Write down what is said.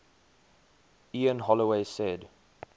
ian holloway said